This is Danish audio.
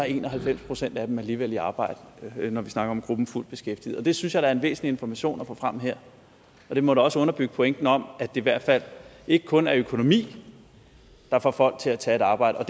en og halvfems procent af dem alligevel i arbejde når vi snakker om gruppen af fuldt beskæftigede det synes jeg da er en væsentlig information at få frem her og det må da også underbygge pointen om det i hvert fald ikke kun er økonomi der får folk til at tage et arbejde og